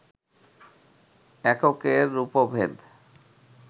এককের রূপভেদ,